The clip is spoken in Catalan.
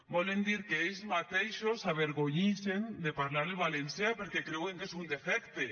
volen dir que ells mateixos s’avergonyixen de parlar el valencià perquè creuen que és un defecte